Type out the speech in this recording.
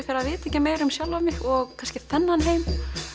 fyrir að vita ekki meira um sjálfan mig og þennan heim